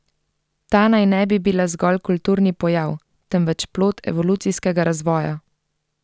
Ta naj ne bi bila zgolj kulturni pojav, temveč plod evolucijskega razvoja.